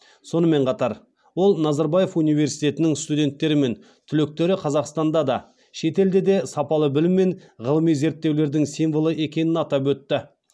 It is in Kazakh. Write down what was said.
сонымен қатар ол назарбаев университетінің студенттері мен түлектері қазақстанда да шетелде де сапалы білім мен ғылыми зерттеулердің символы екенін атап өтті